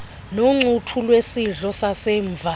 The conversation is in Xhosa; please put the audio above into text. noncuthu lwesidlo sasemva